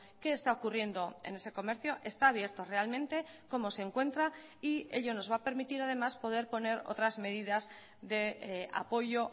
qué está ocurriendo en ese comercio está abierto realmente cómo se encuentra y ello nos va a permitir además poder poner otras medidas de apoyo